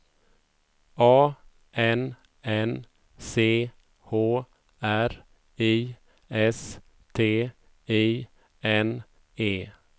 A N N C H R I S T I N E